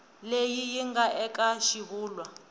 leyi yi nga eka xivulwa